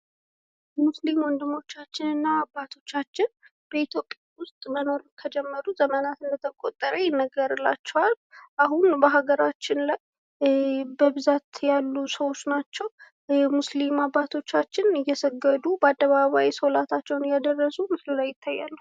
ሙስሊም ወንድሞቻችን እና አባቶቻችን በኢትዮጵያ ውስጥ መኖር ከጀመሩ ዘመናት እንደተቆጠረ ይነገርላቸዋል። አሁን በሀገራችን ላይ በብዛት ያሉ ሰዎች ናቸው። ሙስሊም አባቶቻችን እየሰገዱ በአደባባይ ሶላታቸውን እያደረሱ ምስሉ ላይ ይታያሉ።